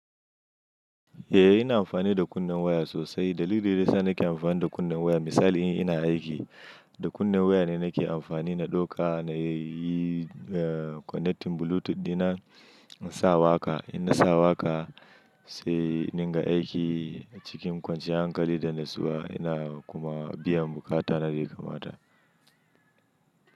Eh ina amfani da kunnen waya sosai. Dalilin da ya sa nake amfani da kunnen waya misali in ina aiki da kunnen waya ne nake amfani na ɗauka na yi connecting bluetooth ina insa waƙa. Ina sa waƙa sai indinga aiki cikin kwanciyar hankali da natsuwa ina kuma biyan buƙata na daya kamata.